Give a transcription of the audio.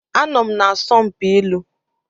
Anọ m na asọmpi ilu.